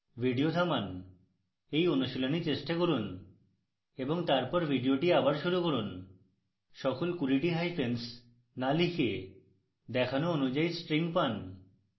video থামান এই অনুশীলনী চেষ্টা করুন এবং তারপর video আবার শুরু করুন